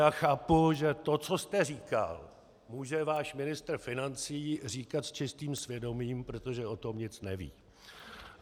Já chápu, že to, co jste říkal, může váš ministr financí říkat s čistým svědomím, protože o tom nic neví.